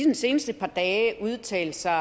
de seneste par dage udtalt sig